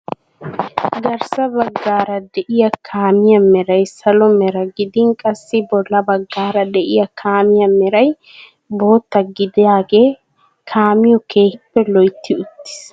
Garssa baggaara de'iyaa kaamiyaa meray salo mera gidin qassi bolla baggaara deiyaa kaamiyaa meray bootta gidaagee kaamiyoo keehippe loytti uttiis.